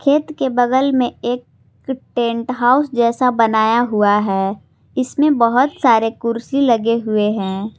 खेत के बगल में एक टेंट हाउस जैसा बनाया हुआ है इसमें बहुत सारे कुर्सी लगे हुए हैं।